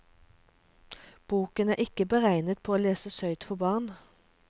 Boken er ikke beregnet på å leses høyt for barn.